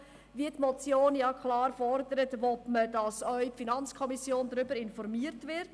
Wie die Motion ganz klar fordert, will man, dass auch die FiKo über die Ergebnisse informiert wird.